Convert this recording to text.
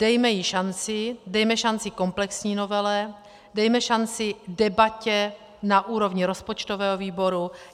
Dejme jí šanci, dejme šanci komplexní novele, dejme šanci debatě na úrovni rozpočtového výboru.